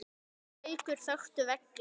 Bækur þöktu veggi.